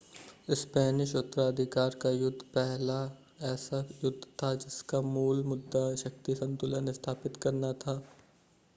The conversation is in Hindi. स्पेनिश उत्तराधिकार का युद्ध पहला ऐसा युद्ध था जिसका मूल मुद्दा शक्ति संतुलन स्थापित करना था